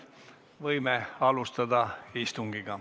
Võime alustada istungit.